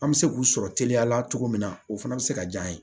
An bɛ se k'u sɔrɔ teliya la cogo min na o fana bɛ se ka diya an ye